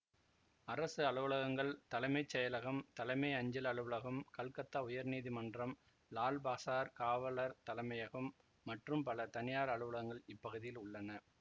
அரசு அலுவலகங்கள் தலைமை செயலகம் தலைமை அஞ்சல் அலுவலகம் கல்கத்தா உயர் நீதி மன்றம் லால் பசார் காவலர் தலைமையகம் மற்றும் பல தனியார் அலுவலகங்கள் இப்பகுதியில் உள்ளன